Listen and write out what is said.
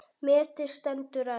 Metið stendur enn.